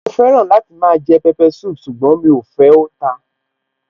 Mo fẹ́ràn láti máa jẹ pepper soup ṣùgbọ́n mí ò fẹ́, ó ta.